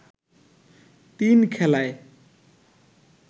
তিন খেলায়